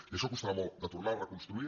i això costarà molt de tornar a reconstruir